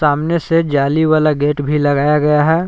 सामने से जाली वाला गेट भी लगाया गया हैं।